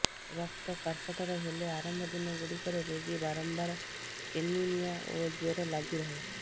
ରକ୍ତକର୍କଟର ହେଲେ ଆରମ୍ଭ ଦିନ ଗୁଡିକରେ ରୋଗୀ ବାରମ୍ୱାର ଏନିମିୟା ଓ ଜ୍ୱର ଲାଗି ରହେ